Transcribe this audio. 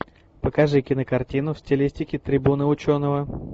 покажи кинокартину в стилистике трибуна ученого